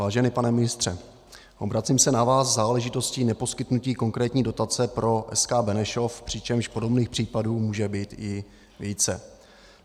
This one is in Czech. Vážený pane ministře, obracím se na vás v záležitosti neposkytnutí konkrétní dotace pro SK Benešov, přičemž podobných případů může být i více.